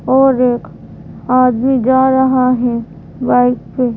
और एक आदमी जा रहा है बाइक पे --